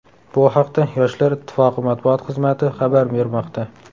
Bu haqda Yoshlar ittifoqi matbuot xizmati xabar bermoqda.